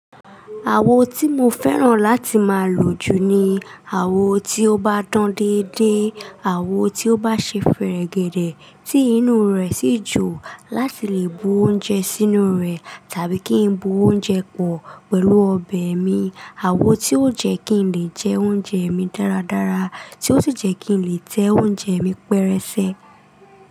Àwo tí mo fẹ́ràn láti máa lò jù ni àwo tí ó bá dán dédé, àwo tí ó bá ṣe fẹ̀rẹ̀gẹ̀dẹ̀, tí inú rẹ̀ sì jò láti lè bu oúnjẹ sínú rẹ̀ tàbí kí n bu oúnjẹ pọ̀ pẹ̀lú ọbẹ̀ mi, àwo tí ó jẹ́ kí n lè jẹ oúnjẹ mi dáradára, tí ó sì jẹ́ kí n lè tẹ oúnjẹ mi pẹrẹsẹ.